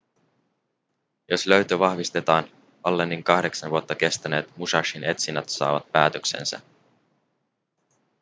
jos löytö vahvistetaan allenin kahdeksan vuotta kestäneet musashin etsinnät saavat päätöksensä